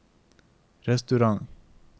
restaurant